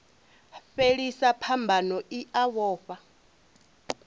fhelisa phambano i a vhofha